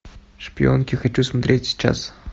шпионки хочу смотреть сейчас